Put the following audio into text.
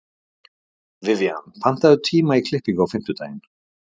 Vivian, pantaðu tíma í klippingu á fimmtudaginn.